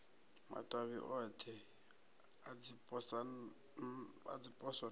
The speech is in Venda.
matavhi othe a dziposo na